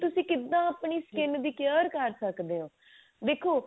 ਤੁਸੀਂ ਕਿਦਾਂ ਆਪਣੀ skin ਦੀ care ਕਰ ਸਕਦੇ ਹੋ ਦੇਖੋ